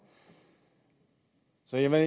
jeg vil